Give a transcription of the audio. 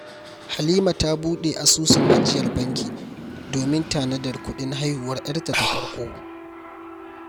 Halima ta buɗe asusun ajiyar banki domin tanadar kuɗin haihuwar 'yarta ta farko.